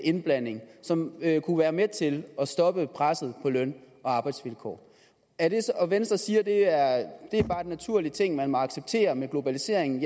indblanding som kunne være med til at stoppe presset på løn og arbejdsvilkår og venstre siger at det bare er en naturlig ting man må acceptere med globaliseringen